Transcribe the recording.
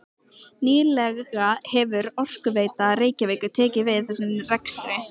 Nýlega hefur Orkuveita Reykjavíkur tekið við þessum rekstri.